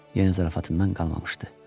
Yenə zarafatından qalmamışdı.